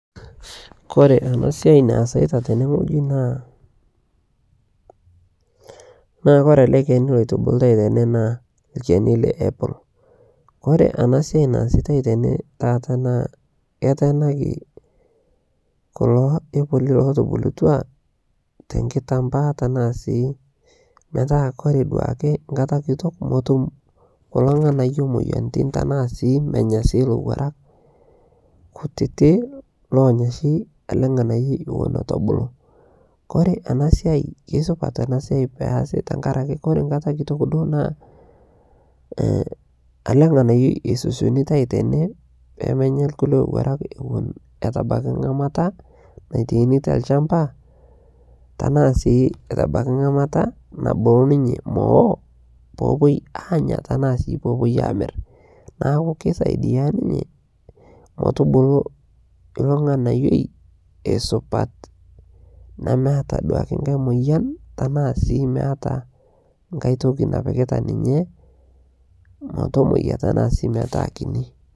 Kore ana siai naasaita tene naa Kore alee keni loitubulutai tenee naa lkeni Le apple Kore ana siai naasitai tenee taata naa keteenaki kuloo epolii lotubulutua te nkitambaa tanaa sii Kore metaa duake nkataa kitok motum kuloo nganayo moyanitin tanaa sii menya sii lowarak kutitii lonyaa shi alee nghanayoi ewon etuu ebuluu Kore ana siai keisupat ana siai peasi tankarakee Kore nkata kitok duo naa alee nghanayoi eisosionitoi tenee pemenya lkulie owarak etu ebaki ngamata naitaini telshampa tanaa sii etu ebaki ngamata nabulu ninyee mowoo poopuoi anya tanaa sii poopuoi amir naaku kisaidia ninyee motubuluu iloo nghanayoi eisupat nemeata duake nghai moyan tanaa sii meataa nghai tokii napikitaa ninyee motomoyaa tanaa sii metaa kinii